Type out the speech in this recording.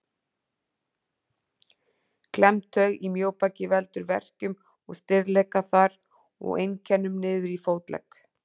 Klemmd taug í mjóbaki veldur verkjum og stirðleika þar og einkennum niður í fótlegg.